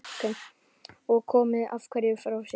Og komið einhverju frá sér?